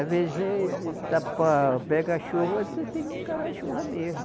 Às vezes pega a chuva, você tem que encarar a chuva mesmo.